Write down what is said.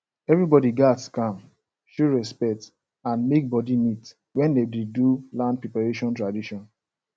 everybody gats calm show respect and make body neat when dem dey do land preparation tradition